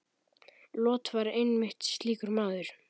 Lot var einmitt slíkur maður.